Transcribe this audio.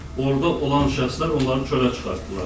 Orda olan şəxslər onları çölə çıxartdılar.